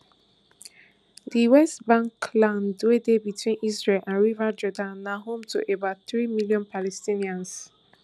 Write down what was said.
di west bank land wey dey between israel and river jordan na home to about three million palestinians